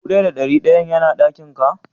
Dubu daya da dari dayan yana dakin ka?